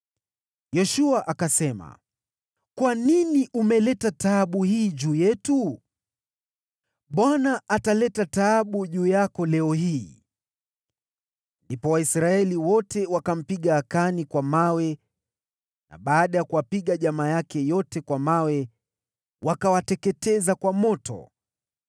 Yoshua akasema, “Kwa nini umeleta taabu hii juu yetu? Bwana ataleta taabu juu yako leo hii.” Ndipo Israeli yote ikampiga Akani kwa mawe, na baada ya kuwapiga jamaa yake yote kwa mawe, wakawateketeza kwa moto.